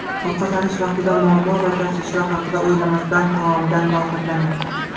Ovqatlanish vaqtida muammo va tashvishlar haqida o‘ylamasdan taomdan rohatlaning.